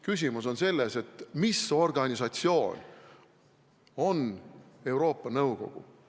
Küsimus on selles, mis organisatsioon on Euroopa Nõukogu.